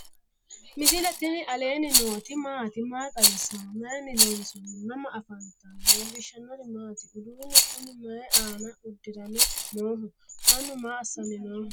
misile tini alenni nooti maati? maa xawissanno? Maayinni loonisoonni? mama affanttanno? leelishanori maati? uduunnu kunni may aanna udirame nooho? mannu maa assanni noo?